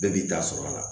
Bɛɛ b'i ta sɔrɔ a la